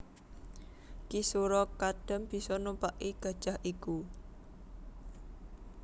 Ki Sura Kadam bisa numpaki gajah iku